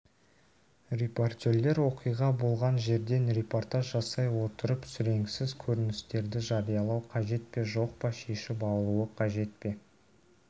репортерлер оқиға болған жерден репортаж жасай отырып сүреңсіз көріністерді жариялау қажет пе жоқ па шешіп алуы қажет пе